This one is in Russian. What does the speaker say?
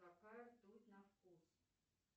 какая ртуть на вкус